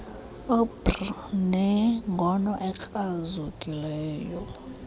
ubr nengono ekrazukileyo